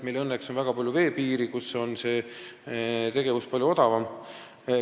Meil on õnneks väga palju veepiiri, kus tegevus on palju odavam.